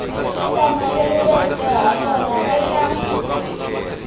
swi hlamuseriweke ha kona eka